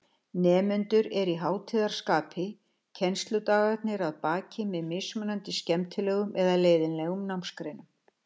Nemendur eru í hátíðarskapi, kennsludagarnir að baki með mismunandi skemmtilegum eða leiðinlegum námsgreinum.